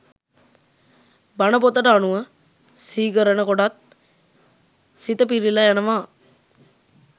බණ පොතට අනුව සිහිකරන කොටත් සිත පිරිල යනවා.